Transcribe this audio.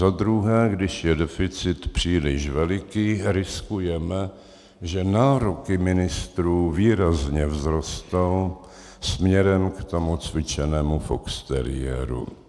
Za druhé, když je deficit příliš veliký, riskujeme, že nároky ministrů výrazně vzrostou směrem k tomu cvičenému foxteriéru.